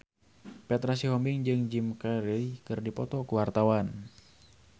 Petra Sihombing jeung Jim Carey keur dipoto ku wartawan